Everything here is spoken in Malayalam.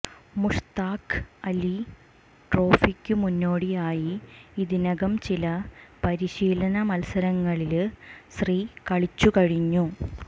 മുഷ്താഖ് അലി ട്രോഫിക്കു മുന്നോടിയായി ഇതിനകം ചില പരിശീലന മല്സരങ്ങളില് ശ്രീ കളിച്ചു കഴിഞ്ഞു